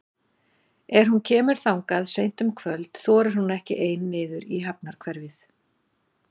Er hún kemur þangað seint um kvöld þorir hún ekki ein niður í hafnarhverfið.